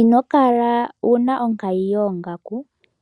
Ino kala wu na onkayi yoongaku.